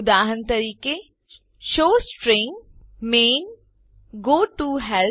ઉદાહરણ તરીકે showString main goToHelp